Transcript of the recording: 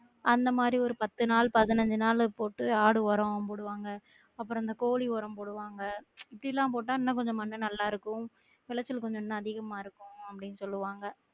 அந்த மாதிரி ஒரு பத்து நாள் பதினைஞ்சு நாள் போட்டு ஆடு ஒரம் போடுவாங்க அப்றம் இந்த கோழி ஒரம் போடுவாங்க இப்படிலாம் போட்டா இன்னும் கொஞ்சம் மண்ணு நல்லா இருக்கும் விளைச்சல் கொஞ்சம் இன்னும் அதிகமா இருக்கும் அப்படின்னு சொல்லுவாங்க